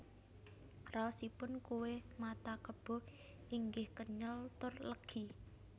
Raos ipun kué mata kebo inggih kenyel tur legi